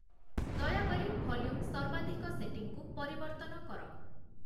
ଦୟାକରି ଭଲ୍ୟୁମ୍ ସର୍ବାଧିକ ସେଟିଂକୁ ପରିବର୍ତ୍ତନ କର